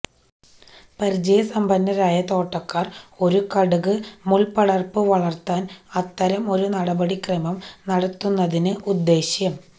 പരിചയസമ്പന്നരായ തോട്ടക്കാർ ഒരു കടുക് മുൾപടർപ്പു വളർത്താൻ അത്തരം ഒരു നടപടിക്രമം നടത്തുന്നതിന് ഉദ്ദ്യേശം